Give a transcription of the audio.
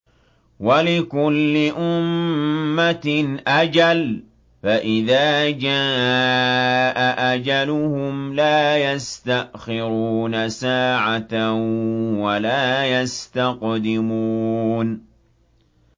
وَلِكُلِّ أُمَّةٍ أَجَلٌ ۖ فَإِذَا جَاءَ أَجَلُهُمْ لَا يَسْتَأْخِرُونَ سَاعَةً ۖ وَلَا يَسْتَقْدِمُونَ